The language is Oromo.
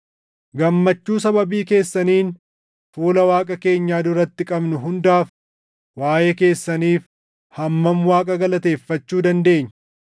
Gammachuu sababii keessaniin fuula Waaqa keenyaa duratti qabnu hundaaf waaʼee keessaniif hammam Waaqa galateeffachuu dandeenya?